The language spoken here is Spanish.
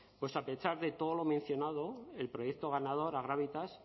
pues a pesar de todo lo mencionado el proyecto ganador a grávita